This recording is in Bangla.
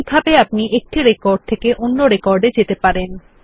এইভাবে আপনি একটি রেকড থেকে অন্য রেকর্ড এ যেতে পারেন